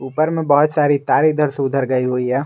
ऊपर में बहुत सारी तार इधर से उधर गई हुई है।